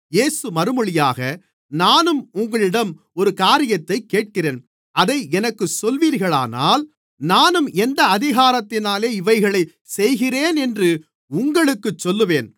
இயேசு மறுமொழியாக நானும் உங்களிடம் ஒரு காரியத்தைக் கேட்கிறேன் அதை எனக்குச் சொல்லுவீர்களானால் நானும் எந்த அதிகாரத்தினாலே இவைகளைச் செய்கிறேனென்று உங்களுக்குச் சொல்லுவேன்